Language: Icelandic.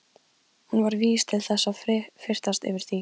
Hún var vís til þess að fyrtast yfir því.